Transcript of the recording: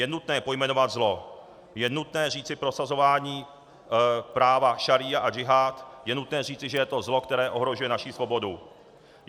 Je nutné pojmenovat zlo, je nutné říci prosazování práva šaría a džihád - je nutné říci, že je to zlo, které ohrožuje naši svobodu.